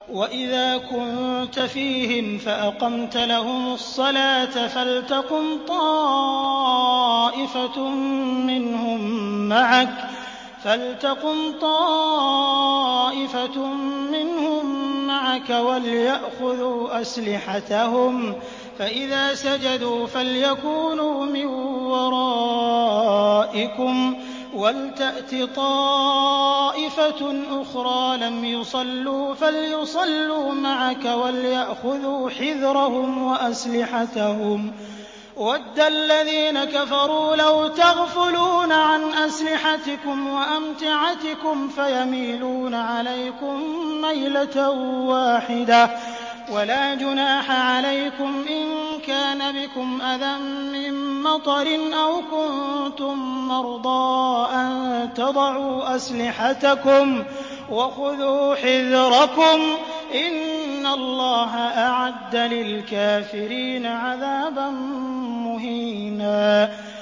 وَإِذَا كُنتَ فِيهِمْ فَأَقَمْتَ لَهُمُ الصَّلَاةَ فَلْتَقُمْ طَائِفَةٌ مِّنْهُم مَّعَكَ وَلْيَأْخُذُوا أَسْلِحَتَهُمْ فَإِذَا سَجَدُوا فَلْيَكُونُوا مِن وَرَائِكُمْ وَلْتَأْتِ طَائِفَةٌ أُخْرَىٰ لَمْ يُصَلُّوا فَلْيُصَلُّوا مَعَكَ وَلْيَأْخُذُوا حِذْرَهُمْ وَأَسْلِحَتَهُمْ ۗ وَدَّ الَّذِينَ كَفَرُوا لَوْ تَغْفُلُونَ عَنْ أَسْلِحَتِكُمْ وَأَمْتِعَتِكُمْ فَيَمِيلُونَ عَلَيْكُم مَّيْلَةً وَاحِدَةً ۚ وَلَا جُنَاحَ عَلَيْكُمْ إِن كَانَ بِكُمْ أَذًى مِّن مَّطَرٍ أَوْ كُنتُم مَّرْضَىٰ أَن تَضَعُوا أَسْلِحَتَكُمْ ۖ وَخُذُوا حِذْرَكُمْ ۗ إِنَّ اللَّهَ أَعَدَّ لِلْكَافِرِينَ عَذَابًا مُّهِينًا